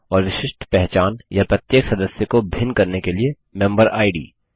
और विशिष्ट पहचान या प्रत्येक सदस्य को भिन्न करने के लिए मेंबर इद